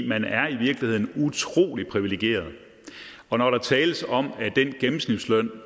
man er i virkeligheden utrolig privilegeret og når der tales om den gennemsnitsløn